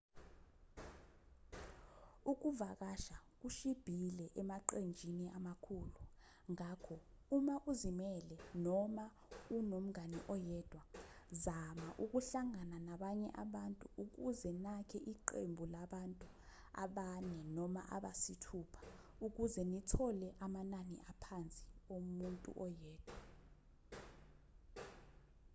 ukuvakasha kushibhile emaqenjini amakhulu ngakho uma uzimele noma unomngane oyedwa zama ukuhlangana nabanye abantu ukuze nakhe iqembu labantu abane noma abasithupha ukuze nithole amanani aphansi omuntu oyedwa